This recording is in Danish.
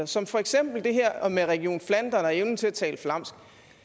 som for eksempel det her med region flandern og evnen til at tale flamsk